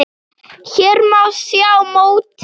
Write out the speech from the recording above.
Hér má sjá mótið.